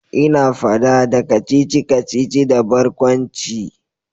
Ina fada da kacici-kacici da barkwanci